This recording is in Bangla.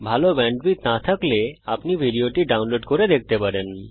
ভাল ব্যান্ডউইডথ না থাকলে ভিডিওটি ডাউনলোড করে দেখতে পারেন